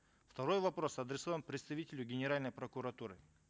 второй вопрос адресован представителю генеральной прокуратуры